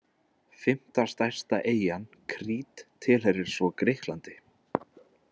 Fimmta stærsta eyjan, Krít, tilheyrir svo Grikklandi.